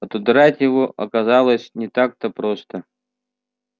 отодрать его оказалось не так-то просто